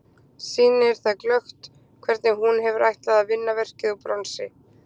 Sýnir það glöggt hvernig hún hefur ætlað að vinna verkið úr bronsi.